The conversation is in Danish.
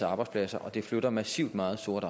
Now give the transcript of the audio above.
arbejdspladser og at det flytter massivt meget sort